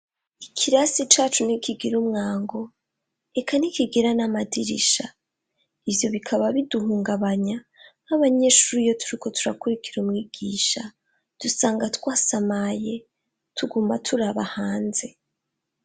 Ikirasi cacu ntikigira umwango eka ntikigira n'amadirisha ivyo bikaba biduhungabanya nk'abanyeshuri iyo turiko turakurikira umwigisha dusanga twasamaye tuguma turaba hanze.